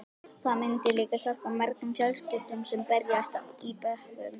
Það myndi líka hjálpa mörgum fjölskyldum sem berjast í bökkum.